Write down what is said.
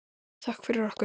Þökk fyrir okkur.